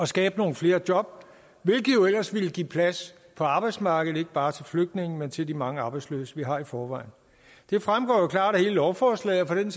skabe nogle flere job hvilket jo ellers ville give plads på arbejdsmarkedet ikke bare til flygtninge men til de mange arbejdsløse vi har i forvejen det fremgår jo klart af hele lovforslaget og for den